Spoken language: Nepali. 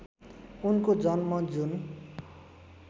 उनको जन्म जुन